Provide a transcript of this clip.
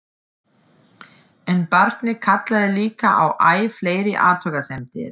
En barnið kallaði líka á æ fleiri athugasemdir.